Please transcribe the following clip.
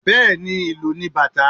Bẹẹni, ìlù ni bata